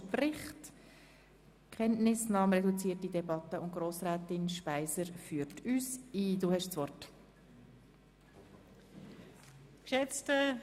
Wir führen eine reduzierte Debatte, und Grossrätin Speiser erläutert uns den Bericht.